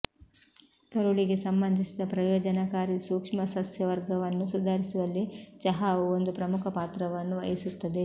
ಕರುಳಿಗೆ ಸಂಬಂಧಿಸಿದ ಪ್ರಯೋಜನಕಾರಿ ಸೂಕ್ಷ್ಮಸಸ್ಯವರ್ಗವನ್ನು ಸುಧಾರಿಸುವಲ್ಲಿ ಚಹಾವು ಒಂದು ಪ್ರಮುಖ ಪಾತ್ರವನ್ನು ವಹಿಸುತ್ತದೆ